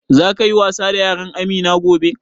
Za ka yi wasa da yaran Amina gobe?